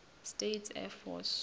states air force